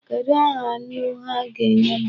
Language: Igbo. Kedụ aha nnu ha ga-enye m?